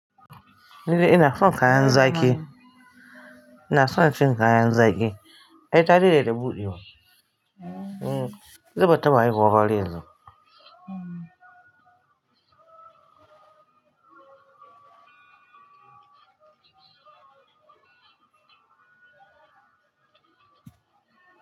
Ni dai ina son kayan zaki. Ina son cin kayan zaki. Ai ta dade da buɗe wa. Hm, ita bata taba haihuwa ba har yanzu.